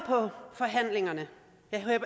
forhandlingerne jeg